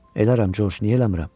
Elərəm, Coç, niyə eləmirəm?